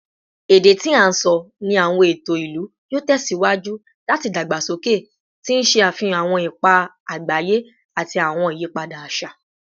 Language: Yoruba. Ede ti a sọ ni awọn eto ilu yoo tẹsiwaju lati dagbasoke, ti n ṣe afihan awọn ipa agbaye ati awọn iyipada aṣa